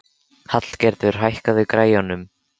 Hallgerður, hækkaðu í græjunum.